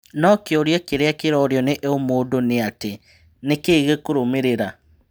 No kĩ ũria kĩ rĩ a kĩ rorio nĩ o mũndũ ni: atĩ nĩ kĩ ĩ gĩ kũrũmĩ rĩ ra?